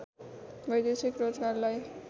वैदेशिक रोजगारलाई